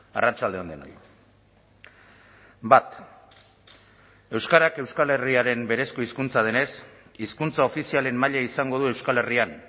arratsalde on denoi bat euskarak euskal herriaren berezko hizkuntza denez hizkuntza ofizialen maila izango du euskal herrian